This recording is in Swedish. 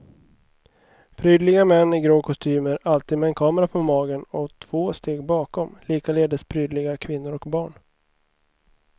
Prydliga män i grå kostymer alltid med en kamera på magen och, två steg bakom, likaledes prydliga kvinnor och barn.